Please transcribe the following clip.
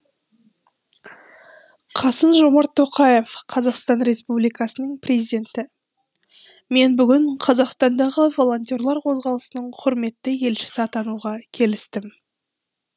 қасым жомарт тоқаев қазақстан республикасының президенті мен бүгін қазақстандағы волонтерлер қозғалысының құрметті елшісі атануға келістім